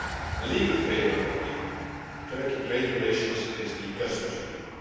The legal framework of EU Turkey trade relations is the customs union.